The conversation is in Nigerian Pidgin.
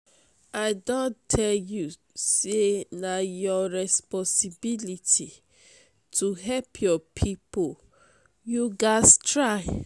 i don tell you sey na your responsibility to help your pipo you gats try.